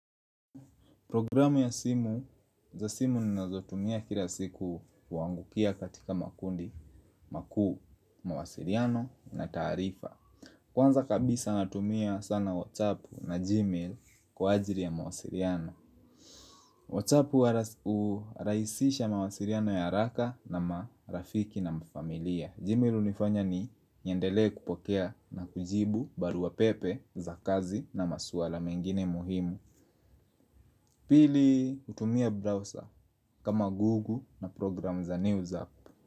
Programu ya simu, za simu ninazotumia kila siku uangukia katika makundi makuu, mawasiliano na taarifa. Kwanza kabisa natumia sana whatsappu na Gmail kwa ajili ya mawasiliano Whatsapp uraisisha mawasiliano ya haraka na marafiki na mafamilia Gmail unifanya niendelee kupokea na kujibu barua pepe za kazi na masuala mengine muhimu. Pili hutumia browser kama google na program za news app.